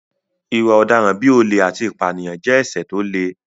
Ìwà ọ̀daràn bí olè àti ìpànìyàn jẹ́ ẹ̀ṣẹ̀ tó le